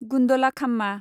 गुन्दलाखाम्मा